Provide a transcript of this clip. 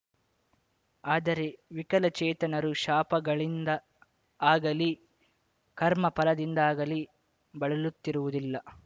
ಆದರೆ ವಿಕಲಚೇತನರು ಶಾಪಗಳಿಂದ ಆಗಲಿ ಕರ್ಮಫಲದಿಂದಾಗಲಿ ಬಳಲುತ್ತಿರುವುದಿಲ್ಲ